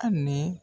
Hali ni